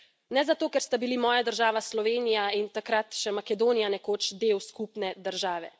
Ne zato, ker sta bili moja država Slovenija in takrat še Makedonija nekoč del skupne države.